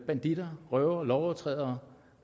banditter røvere og andre lovovertrædere